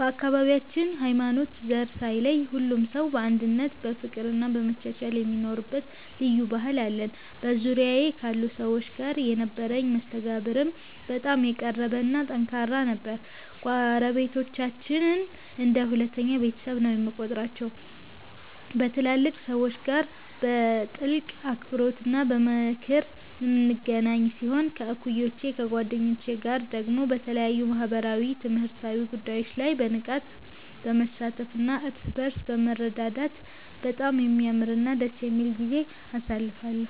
በአካባቢያችን ሃይማኖትና ዘር ሳይለይ ሁሉም ሰው በአንድነት በፍቅርና በመቻቻል የሚኖርበት ልዩ ባህል አለን። በዙሪያዬ ካሉ ሰዎች ጋር የነበረኝ መስተጋብርም በጣም የቀረበና ጠንካራ ነበር። ጎረቤቶቻችንን እንደ ሁለተኛ ቤተሰቤ ነው የምቆጥራቸው፤ ከትላልቅ ሰዎች ጋር በጥልቅ አክብሮትና በምክር የምንገናኝ ሲሆን፣ ከእኩዮቼና ከጓደኞቼ ጋር ደግሞ በተለያዩ ማኅበራዊና ትምህርታዊ ጉዳዮች ላይ በንቃት በመሳተፍና እርስ በርስ በመረዳዳት በጣም የሚያምርና ደስ የሚል ጊዜ አሳልፌአለሁ።